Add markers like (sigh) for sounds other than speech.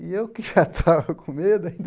E eu que (laughs) já estava com medo ainda.